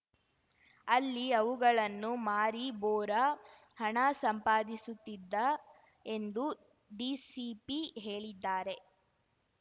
ಅಲ್ಲಿ ಅವುಗಳನ್ನು ಮಾರಿ ಬೋರಾ ಹಣ ಸಂಪಾದಿಸುತ್ತಿದ್ದ ಎಂದು ಡಿಸಿಪಿ ಹೇಳಿದ್ದಾರೆ